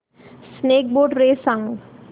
snake boat race सांग